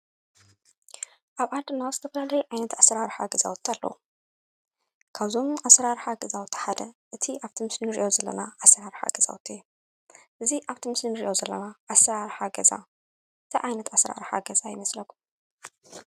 ኣብ ዓድና ዝተፈላለየ ዓይነት ኣሰራረሓ ገዛውቲ ኣለዉ፡፡ ካብዞም ኣሰራርሓ ጋዛውቲ ሓደ እቲ ኣብቲ ምስሊ እንሪኦ ዘለና ኣሰራርሓ ገዛውቲ እዩ፡፡ እዚ ኣብቲ ምስሊ እንሪኦ ዘለና ኣሰራርሓ ገዛ እንታይ ዓይነት ኣሰራርሓ ገዛ ይመስለኩም?